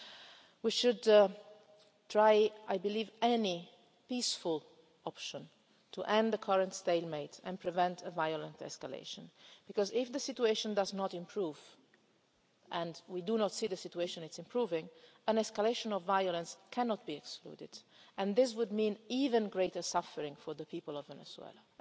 in the future. I believe that we should try any peaceful option to end the current stalemate and prevent a violent escalation because, if the situation does not improve and we do not see the situation improving an escalation of violence cannot be ruled out, and that would mean even greater suffering for the people